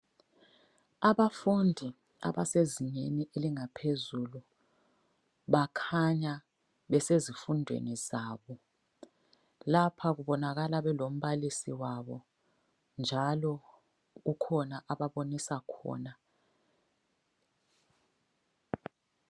Abafundi abasezingeni elingaphezulu bakhanya besezifundweni zabo. Lapha kubonakala belombalisi wabo njalo kukhona ababonisa khona.